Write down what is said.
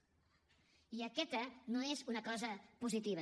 i aquesta no és una cosa positiva